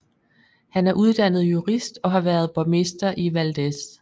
Han er uddannet jurist og har været borgmester i Valdez